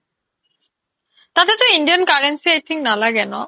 তাতেতো indian currency i think নালাগে ন